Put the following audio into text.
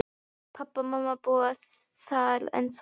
Pabbi og mamma búa þar ennþá.